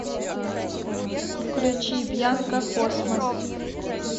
включи бьянка космос